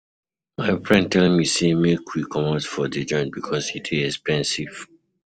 My friend tell me sey make we comot for di joint because e dey expensive.